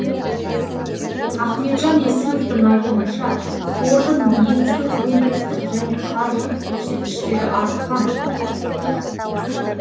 ахметжан есімовтің айтуынша қордың негізгі өндірістік және қаржылық көрсеткіштері артқан